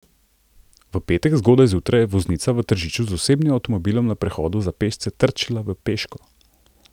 V petek zgodaj zjutraj je voznica v Tržiču z osebnim avtomobilom na prehodu za pešce trčila v peško.